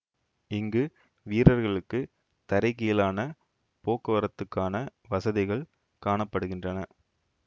இங்கு வீரர்களுக்கு தரைகீழான போக்குவரத்துக்கான வசதிகள் காண படுகின்றன